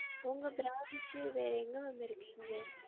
உங்க branch வேற எங்க ma'am இருக்கு இங்க